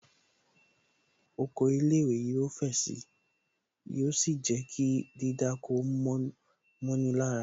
Oko ilé ìwé yóò fẹ̀ sì. Yóò sì jẹ́ kí dídáko mọ́ni lára